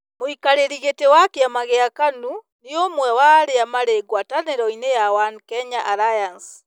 Mũikarĩri gĩtĩ wa kĩama kĩa KANU nĩ ũmwe wa arĩa marĩ ngwatanĩroinĩ ya "One Kenya Alliance".